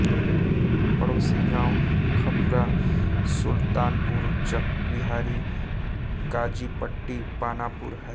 पड़ोसी गाँव खपुरा सुलतानपुर चकबिहारी काजीपट्टी पानापुर है